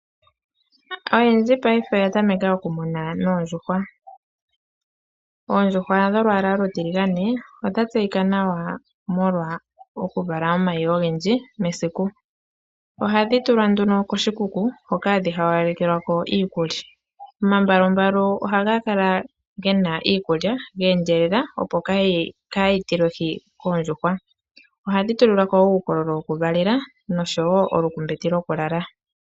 Oyendji paife oya tameka oku muna noondjuhwa. Oondjuhwa dholwaala olutiligane odha tseyika nawa molwa oku vala omayi ogendji mesiku, ohadhi tulwa duno koshikuku hoka hadhi ha walekelwa ko iikulya. Omambwalumbwalu ohaga kala gena iikulya yeendjelele opo kayi tile hwi koondjuhwa, ohadhi tulilelwako uukololo wokuvalela nosho woo uumbete wokulala.